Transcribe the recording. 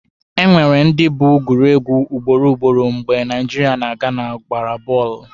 Enwere ndị bụ gụrụ egwu ugboro ugboro mgbe Naijiria na Gana gbara bọọlụ.